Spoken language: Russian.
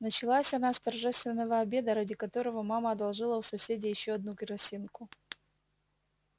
началась она с торжественного обеда ради которого мама одолжила у соседей ещё одну керосинку